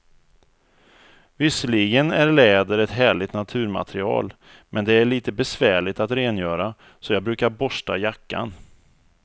Visserligen är läder ett härligt naturmaterial, men det är lite besvärligt att rengöra, så jag brukar borsta jackan.